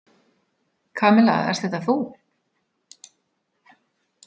Kamilla, ert þetta þú?